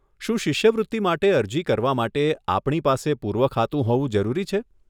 શું શિષ્યવૃત્તિ માટે અરજી કરવા માટે આપણી પાસે પૂર્વ ખાતું હોવું જરૂરી છે?